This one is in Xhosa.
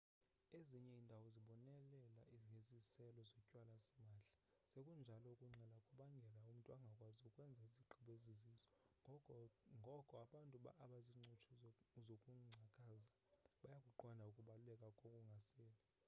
ezinye iindawo zibonelela ngeziselo zotywala simahla sekunjalo ukunxila kubangela umntu angakwazi ukwenza izigqibo ezizizo ngoko abantu abazincutshe zokungcakaza bayakuqonda ukubaluleka kokungaseli